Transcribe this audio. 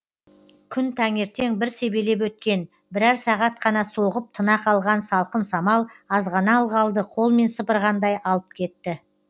күн таңертең бір себелеп өткен бірер сағат қана соғып тына қалған салқын самал азғана ылғалды қолмен сыпырғандай алып кетті